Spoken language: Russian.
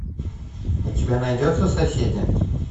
у тебя найдется соседи